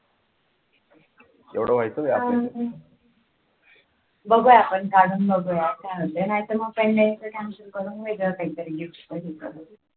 तेवढा व्हायचं का बघू आपण काढून बघूया काय म्हणते नाहीतर मग pendant च cancel करून वेगडा काहीतरी gift